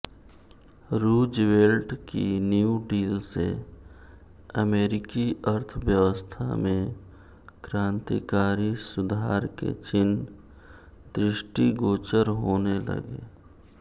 Roosevelt की New Deal से अमेरिकी अर्थव्यवस्था में क्रांतिकारी सुधार के चिह्न दृष्टिगोचर होने लगे